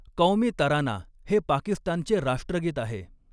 क़ौमी तराना हे पाकिस्तानचे राष्ट्रगीत आहे.